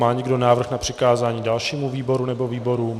Má někdo návrh na přikázání dalšímu výboru nebo výborům?